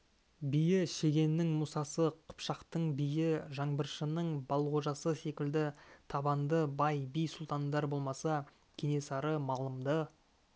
биі шегеннің мұсасы қыпшақтың биі жаңбыршының балғожасы секілді табанды бай би сұлтандар болмаса кенесары малымды